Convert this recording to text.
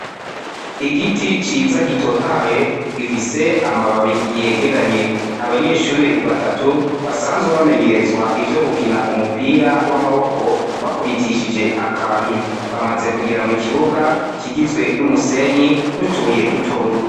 Igiti ciza gitotahaye gifise amababi yegeranye abanyeshure batatu basanzwe bamenyerezwa ivyo gukina umupira w'amaboko bakubitishije akantu bamaze kugera mu kibuga kigizwe n'umusenyi n'utubuye dutod.